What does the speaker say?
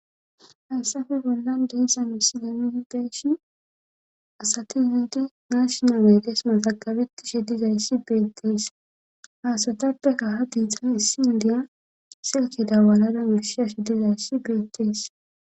Hayssafe bollan deissa mi sinamidi deeshi asati wiidi naashnawe deesman taqabetti she dizayssi beettees haasatappe kaha diixan issi indiya silke da walada wurshiashi dizayssi beettees